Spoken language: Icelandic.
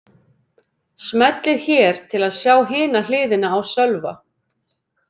Smellið hér til að sjá hina hliðina á Sölva